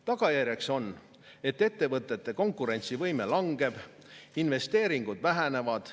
Tagajärg on see, et ettevõtete konkurentsivõime langeb, investeeringud vähenevad.